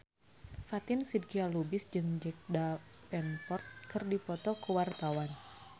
Fatin Shidqia Lubis jeung Jack Davenport keur dipoto ku wartawan